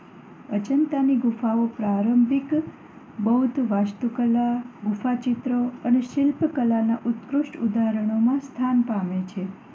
અજંતાની ગુફાઓ પ્રારંભિક બૌદ્ધ વાસ્તુકલા, ગુફા ચિત્રો અને શિલ્પકલાનાં ઉત્કૃષ્ટ ઉદાહરણોમાં સ્થાન પામે છે.